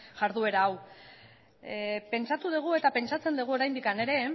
jarduera hau pentsatu dugu eta pentsatzen dugu oraindik ere